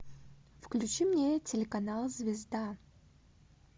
включи мне телеканал звезда